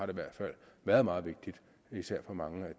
i hvert fald været meget vigtigt især for mange